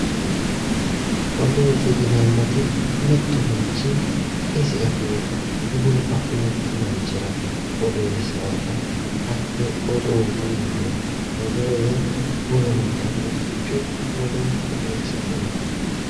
Odoote yineemmo woyte mittu manchi isi afeyota wolu afeyokki manchira odeessaata hattee odoote yineemmo odoo yaa wolu manni afeyokkirocho woleho odeessate yaate